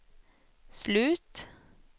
slut